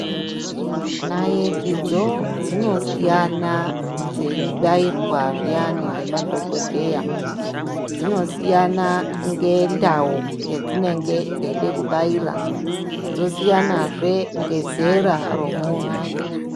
Naitidzo dzinosiyana dzeibairwa zviyani ngema dhogodheya. Dzinosiyana ngendau yedzinenge dzeida kubaira dzosiyanazve ngezera romuntu.